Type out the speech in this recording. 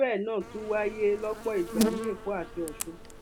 irú ẹ náà tún wáyé lọpọ ìgbà ní èkó àti ọsùn